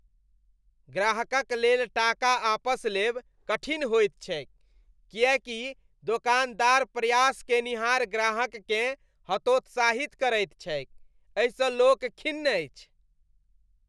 ग्राहकक लेल टाका आपस लेब कठिन होइत छैक किएकि दोकानदार प्रयास केनिहार ग्राहककेँ हतोत्साहित करैत छैक। एहिसँ लोक खिन्न अछि।